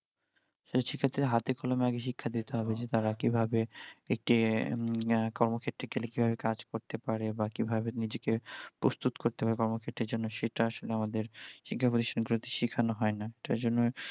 তো সে ক্ষেত্রে হাতে কলমে আগে শিক্ষা দিতে হবে যে তারা কিভাবে একটি কর্মক্ষেত্রে গেলে কিভাবে কাজ করতে পারে বা কিভাবে নিজেকে প্রস্তুত করতে পাড়ে কর্মক্ষেত্রে র জন্য সেটা আসলে আমাদের শিক্ষা প্রতিষ্ঠান গুলতে সেখান হয় না তাই জন্য